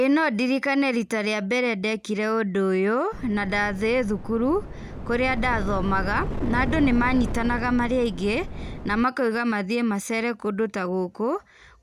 Ĩĩ nondirikane rita rĩa mbere ndekire ũndũ ũyũ, na ndarĩ thukuru, kũrĩa ndathomaga, na andũ nĩmanyitanaga marĩ aingĩ, na makauga mathiĩ macere kũndũ ta gũkũ,